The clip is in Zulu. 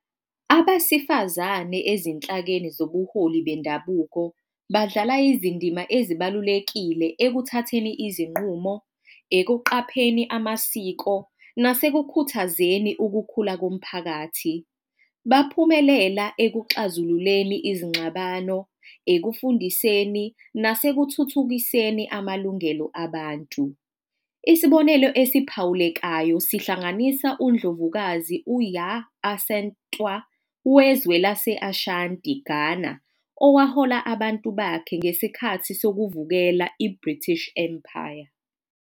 Abasifazane ezinhlakeni zobuholi bendabuko badlala izindima ezibalulekile ekuthatheni izinqumo ekuqapheni amasiko nase kukhuthazeni ukukhula komphakathi. Baphumelela ekuxazululeni izingxabano ekufundiseni nase kuthuthukiseni amalungelo abantu. Isibonelo esiphawulekayo, sihlanganisa uNdlovukazi uYa Asantewaa wezwe laseAshanti Ghana owahola abantu bakhe ngesikhathi sokuvukela i-British Empire.